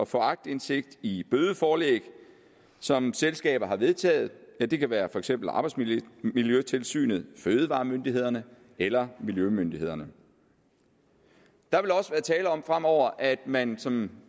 få aktindsigt i bødeforelæg som selskaber har vedtaget det kan være for eksempel arbejdsmiljøtilsynet fødevaremyndighederne eller miljømyndighederne der vil også være tale om fremover at man som